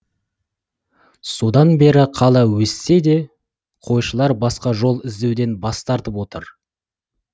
содан бері қала өссе де қойшылар басқа жол іздеуден бас тартып отыр